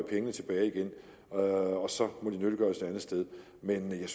pengene tilbage igen og så må de nyttiggøres et andet sted men jeg